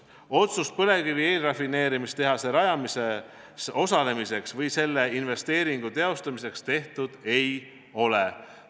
Otsust põlevkivi eelrafineerimise tehase rajamises osalemiseks või selle investeeringu teostamiseks tehtud ei ole.